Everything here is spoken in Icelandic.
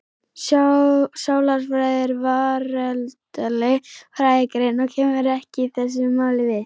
Sálarfræði er veraldleg fræðigrein og kemur ekki þessu máli við.